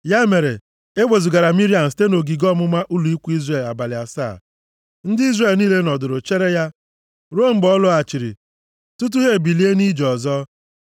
Ya mere e wezugara Miriam site nʼogige ọmụma ụlọ ikwu Izrel abalị asaa. Ndị Izrel niile nọdụrụ chere ya ruo mgbe ọ lọghachiri, tutu ha ebilie nʼije ọzọ.